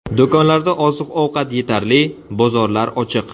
Do‘konlarda oziq-ovqat yetarli, bozorlar ochiq.